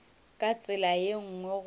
ka tsela ye nngwe go